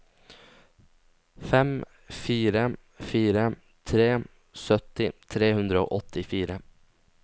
fem fire fire tre sytti tre hundre og åttifire